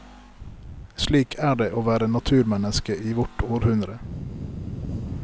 Slik er det å være naturmenneske i vårt århundre.